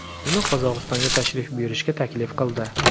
uni Qozog‘istonga tashrif buyurishga taklif qildi.